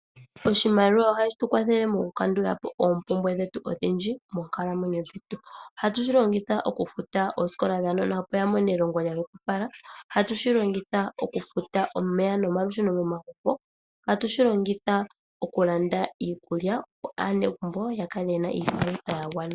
Oshimaliwa ohashi tu kwathele mokukandula po oompumbwe dhetu odhindji moonkalamwenyo dhetu. Ohatu shi longitha okufuta oosikola dhaanona opo aanona ya mone elongo lya hwepopala. Ohatu shi longitha okufuta omeya nomalusheno momagumbo. Ohatu shi longitha okulanda iikulya, opo aanegumbo ya kale ye na iipalutha ya gwana.